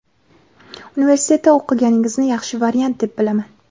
Universitetda o‘qiganingizni yaxshi variant deb bilaman.